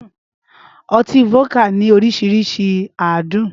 Ọtí fódíkà ní oríṣiríṣi àádùn.